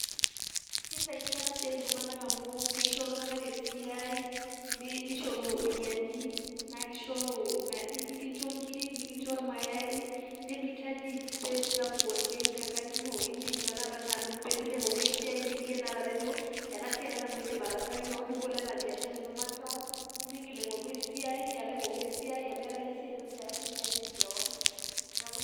Keisaidia ena siai iltung'anak amu keisho iltung'anak esiai nishoru iropiyiani, naa keishoru, ekincho nkiri nikincho ilmayai nemeitaji space sapuk oleng' tenkang' ino, indim tenakata peemilo aing'oru esiai indim yie atejo ena siai ake nanu aidim ataasaki kewon nibol anaa biashara ino makeon, nimiingil aing'oru esiai, alo aing'oru esiai, amu iyata yie esiai ino tayari niajiri kewon.